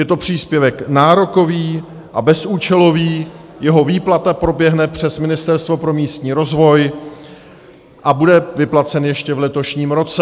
Je to příspěvek nárokový a bezúčelový, jeho výplata proběhne přes Ministerstvo pro místní rozvoj a bude vyplacen ještě v letošním roce.